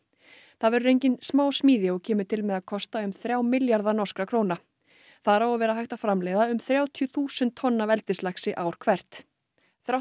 það verður engin smásmíði og kemur til með að kosta um þrjá milljarða norskra króna þar á að vera hægt að framleiða um þrjátíu þúsund tonn af eldislaxi ár hvert þrátt